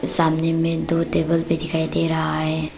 सामने में दो टेबल भी दिखाई दे रहा है।